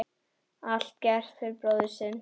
Allt gert fyrir bróðir sinn.